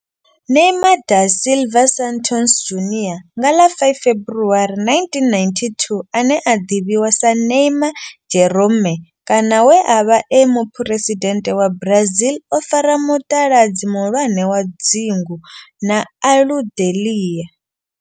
Neymar da Silva Santos Junior nga ḽa 5 February 1992, ane a ḓivhiwa sa Neymar Jeromme kana we a vha e muphuresidennde wa Brazil o fara mutaladzi muhulwane wa dzingu na Aludalelia.